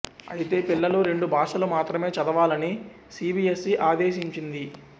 అయితే పిల్లలు రెండు భాషలు మాత్రమే చదవాలని సిబిఎస్సి ఆదేశించింది